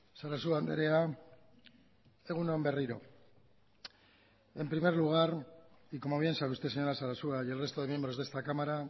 sarasua andrea egun on berriro en primer lugar y como bien sabe usted señora sarasua y el resto de miembros de esta cámara